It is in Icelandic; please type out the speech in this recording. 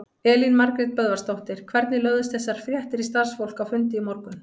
Elín Margrét Böðvarsdóttir: Hvernig lögðust þessar fréttir í starfsfólk á fundi í morgun?